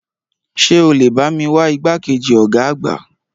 Ṣé o lè bá mi wá igbákejì ọ̀gá àgbà?